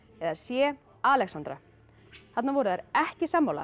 eða c Alexandra þarna voru þær ekki sammála